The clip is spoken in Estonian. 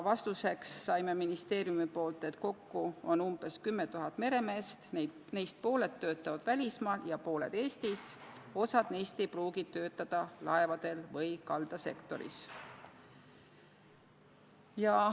Vastuseks saime ministeeriumilt, et kokku on umbes 10 000 sellist meremeest, neist pooled töötavad välismaal ja pooled Eestis ning osa neist ei pruugi töötada laevadel või kaldasektoris.